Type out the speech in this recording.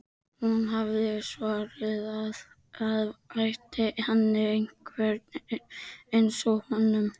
Hún hafði svarað að það þætti henni einmitt einsog honum.